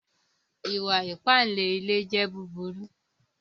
Ìwà-ípànle ilẹ̀ jẹ̀ búbúrù